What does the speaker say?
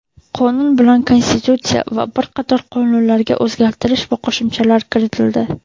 Qonun bilan Konstitutsiya va bir qator qonunlarga o‘zgartirish va qo‘shimchalar kiritildi.